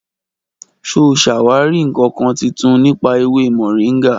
Ṣo sàwàri ìkankan títùn nipa èwé mọ̀ríngà?